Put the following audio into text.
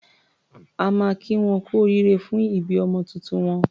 A máa kí wọn kú oríire fún ìbí ọmọ tuntun wọn.